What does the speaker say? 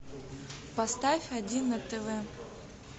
поставь один на тв